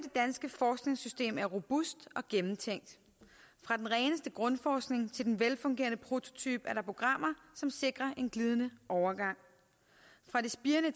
danske forskningssystem er robust og gennemtænkt fra den reneste grundforskning til den velfungerende prototype er der programmer som sikrer en glidende overgang fra det spirende